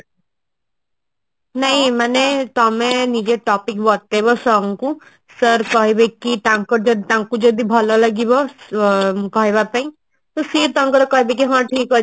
ନାଇଁ ମାନେ ତମେ ନିଜ topic ବତେଇବ sir ଙ୍କୁ sir କହିବେ କି ତାଙ୍କର ଯଦି ତାଙ୍କୁ ଯଦି ଭଲ ଲାଗିବ ସେ କହିବା ପାଇଁ ତ ସିଏ ଟାକର କହିବେ କି ହଁ ଠିକ ଅଛି